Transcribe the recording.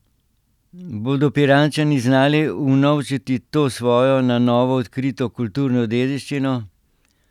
Bodo Pirančani znali unovčiti to svojo na novo odkrito kulturno dediščino?